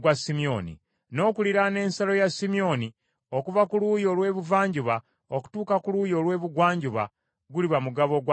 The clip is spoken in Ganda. N’okuliraana ensalo ya Simyoni okuva ku luuyi olw’ebuvanjuba okutuuka ku luuyi olw’ebugwanjuba, guliba mugabo gwa Isakaali.